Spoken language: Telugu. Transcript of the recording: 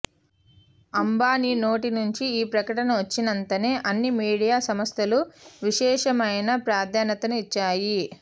అంబానీ నోటి నుంచి ఈ ప్రకటన వచ్చినంతనే అన్ని మీడియా సంస్థలు విశేషమైన ప్రాధాన్యతను ఇచ్చాయి